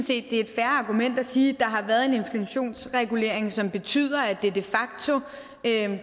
det er et fair argument at sige at der har været en inflationsregulering som betyder at det de facto